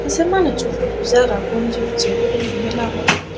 se manuccho hudu jar gonji ucche gurine mela gorot.